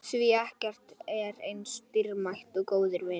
Því ekkert er eins dýrmætt og góðir vinir.